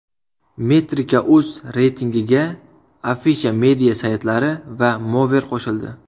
Metrika.uz reytingiga Afisha Media saytlari va Mover qo‘shildi.